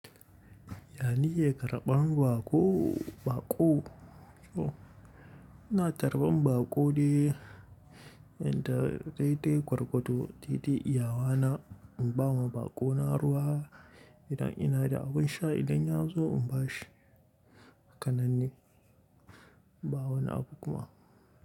Ya ni yakan rabon baƙo, baƙo. Ina tarbar baƙo dai-dai gwargwado iyawa na, ina bawa baƙo na ruwa idan ina da abun sha idan ya zo in bashi. Hakanan de ba wani abu kuma.